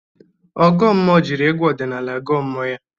Ọgụ mmụọ jiri egwu ọdịnala gọọ mmụọ ya.